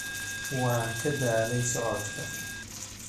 Waan ka daalay socodka